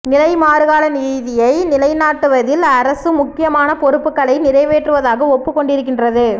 நிலைமாறுகால நீதியை நிலைநாட்டுவதில் அரசு முக்கியமான பொறுப்புக்களை நிறைவேற்றுவதாக ஒப்புக்கொண்டிருக்கின்றது